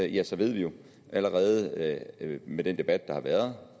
ja så ved vi jo allerede med den debat der har været